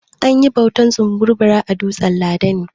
An yi bautar tsumburbura a dutsan dala ne.